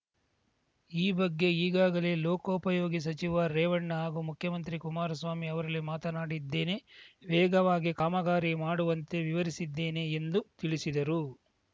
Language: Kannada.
ಈ ಬಗ್ಗೆ ಈಗಾಗಲೇ ಲೋಕೋಪಯೋಗಿ ಸಚಿವ ರೇವಣ್ಣ ಹಾಗೂ ಮುಖ್ಯಮಂತ್ರಿ ಕುಮಾರಸ್ವಾಮಿ ಅವರಲ್ಲಿ ಮಾತನಾಡಿದ್ದೇನೆ ವೇಗವಾಗಿ ಕಾಮಗಾರಿ ಮಾಡುವಂತೆ ವಿವರಿಸಿದ್ದೇನೆ ಎಂದು ತಿಳಿಸಿದರು